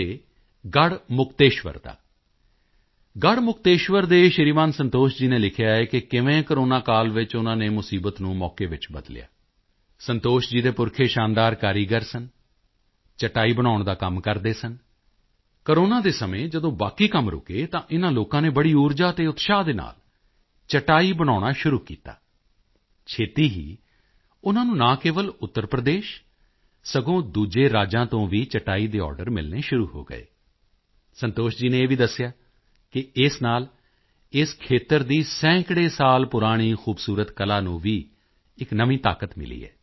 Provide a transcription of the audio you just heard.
ਦੇ ਗੜ੍ਹਮੁਕਤੇਸ਼ਵਰ ਦਾ ਗੜ੍ਹਮੁਕਤੇਸ਼ਵਰ ਦੇ ਸ਼੍ਰੀਮਾਨ ਸੰਤੋਸ਼ ਜੀ ਨੇ ਲਿਖਿਆ ਹੈ ਕਿ ਕਿਵੇਂ ਕੋਰੋਨਾ ਕਾਲ ਵਿੱਚ ਉਨ੍ਹਾਂ ਨੇ ਮੁਸੀਬਤ ਨੂੰ ਮੌਕੇ ਵਿੱਚ ਬਦਲਿਆ ਸੰਤੋਸ਼ ਜੀ ਦੇ ਪੁਰਖੇ ਸ਼ਾਨਦਾਰ ਕਾਰੀਗਰ ਸਨ ਚਟਾਈ ਬਣਾਉਣ ਦਾ ਕੰਮ ਕਰਦੇ ਸਨ ਕੋਰੋਨਾ ਦੇ ਸਮੇਂ ਜਦੋਂ ਬਾਕੀ ਕੰਮ ਰੁਕੇ ਤਾਂ ਇਨ੍ਹਾਂ ਲੋਕਾਂ ਨੇ ਬੜੀ ਊਰਜਾ ਅਤੇ ਉਤਸ਼ਾਹ ਦੇ ਨਾਲ ਚਟਾਈ ਬਣਾਉਣਾ ਸ਼ੁਰੂ ਕੀਤਾ ਛੇਤੀ ਹੀ ਉਨ੍ਹਾਂ ਨੂੰ ਨਾ ਕੇਵਲ ਉੱਤਰ ਪ੍ਰਦੇਸ਼ ਸਗੋਂ ਦੂਜੇ ਰਾਜਾਂ ਤੋਂ ਵੀ ਚਟਾਈ ਦੇ ਆਰਡਰ ਮਿਲਣੇ ਸ਼ੁਰੂ ਹੋ ਗਏ ਸੰਤੋਸ਼ ਜੀ ਨੇ ਇਹ ਵੀ ਦੱਸਿਆ ਹੈ ਕਿ ਇਸ ਨਾਲ ਇਸ ਖੇਤਰ ਦੀ ਸੈਂਕੜੇ ਸਾਲ ਪੁਰਾਣੀ ਖੂਬਸੂਰਤ ਕਲਾ ਨੂੰ ਵੀ ਇੱਕ ਨਵੀਂ ਤਾਕਤ ਮਿਲੀ ਹੈ